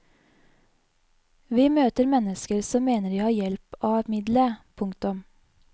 Vi møter mennesker som mener de har hjelp av middelet. punktum